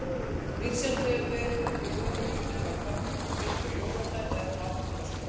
Misjafnt hefur verið hvort jólagrauturinn var framreiddur á jóladag eða aðfangadagskvöld.